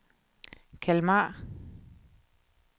Kalmar